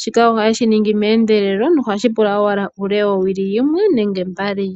shika ohaye shi ningi meendelelo nohashipu;a owala uule wowili yimwe nenge mbali.